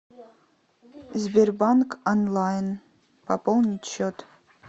сбербанк онлайн пополнить счет